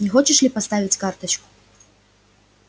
не хочешь ли поставить карточку